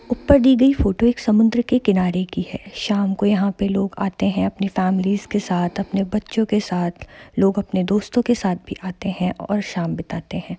ऊपर दी गयी फोटो समुन्दर के किनारे की है शाम को लोग यहाँ आते है अपने फॅमिली के साथ अपने बच्चो के साथ लोग अपने दोस्तों के साथ भी आते है और शाम बिताते है।